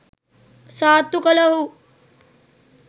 සාත්තු කළ ඔහු